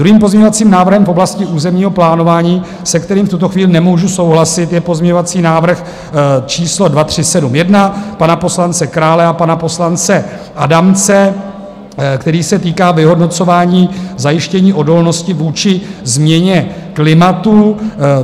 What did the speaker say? Druhým pozměňovacím návrhem v oblasti územního plánování, se kterým v tuto chvíli nemůžu souhlasit, je pozměňovací návrh číslo 2371 pana poslance Krále a pana poslance Adamce, který se týká vyhodnocování zajištění odolnosti vůči změně klimatu.